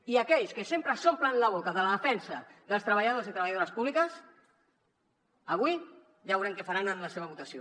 i aquells que sempre s’omplen la boca de la defensa dels treballadors i treballadores públiques avui ja veurem què faran en la seva votació